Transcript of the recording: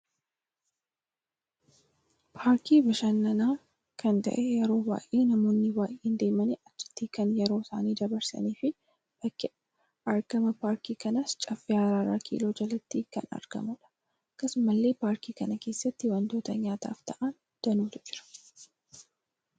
Paarkii bashannaan kan ta'e yeroo baay'ee namoonni baay'een deemani achitti kan yeroo isaani dabarsanii fi bakki argama paarkii kanaas caffee araara kiloo ja'aatti kan argamudha. Akkasumalle paarkii kana keessatti waantooni nyaataaf ta'aan danuutu jira.